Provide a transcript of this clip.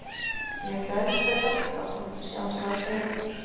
Ég ætla að elska þig alltaf þótt við sjáumst aldrei aftur.